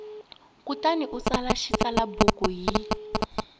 kutani u tsala xitsalwambiko hi